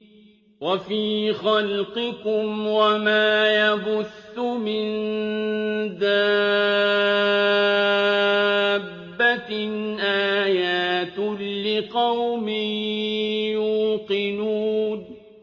وَفِي خَلْقِكُمْ وَمَا يَبُثُّ مِن دَابَّةٍ آيَاتٌ لِّقَوْمٍ يُوقِنُونَ